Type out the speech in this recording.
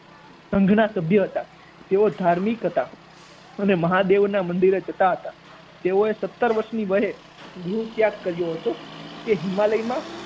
સંઘના સભ્ય હતા. તેઓ ધાર્મિક હતા અને મહાદેવના મંદિરે જતા હતા. તેઓએ સત્તર વર્ષની વયે ગૃહ ત્યાગ કર્યો હતો. તે હિમાલયમાં